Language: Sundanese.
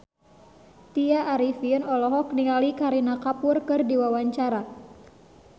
Tya Arifin olohok ningali Kareena Kapoor keur diwawancara